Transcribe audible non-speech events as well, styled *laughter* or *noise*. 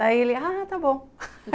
Daí ele, ah, tá bom *laughs*